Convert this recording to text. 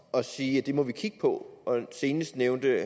at sige at det må vi kigge på senest nævnte